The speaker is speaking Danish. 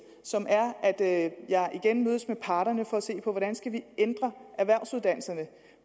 som er at jeg igen mødes med parterne for at se på hvordan vi skal ændre erhvervsuddannelserne